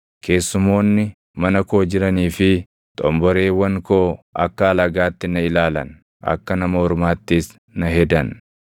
Keessumoonni mana koo jiranii fi xomboreewwan koo akka alagaatti na ilaalan; akka nama ormaattis na hedan.